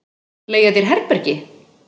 Leigja þér herbergi?